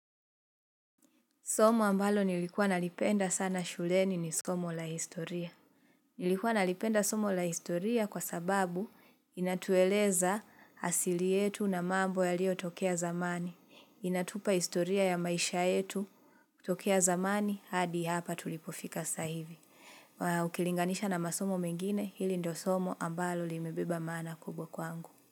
Somo ambalo nilikuwa nalipenda sana shuleni ni somo la historia. Nilikuwa nalipenda somo la historia kwa sababu inatueleza asili yetu na mambo yalio tokea zamani. Inatupa historia ya maisha yetu tokea zamani hadi hapa tulipofika saa hivi. Ukilinganisha na masomo mengine hili ndo somo ambalo limebeba maana kubwa kwangu.